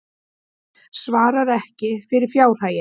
Svarar ekki fyrir fjárhaginn